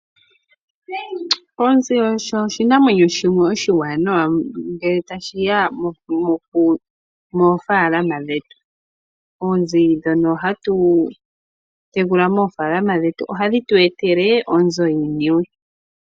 Onzi osho oshinamwenyo shimwe oshiwanawa ngele tashiya moofaalama dhetu. Oonzi dhono hatu tekula moofaalama dhetu ohadhi tu etele oonzo yiiniwe.